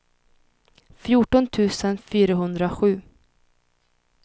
fjorton tusen fyrahundrasju